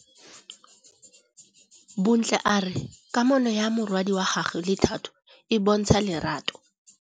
Bontle a re kamanô ya morwadi wa gagwe le Thato e bontsha lerato.